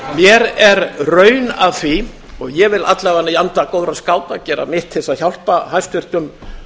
mér er raun að því og ég vil alla vega í anda góðra skáta gera mitt til þess að hjálpa hæstvirtum